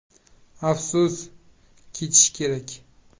“Afsus, ketish kerak.